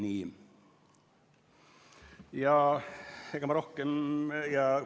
Ega ma rohkem.